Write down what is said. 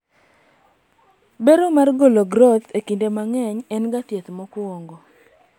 bero mar golo groth kinde mang'eny en ga thieth mokwongo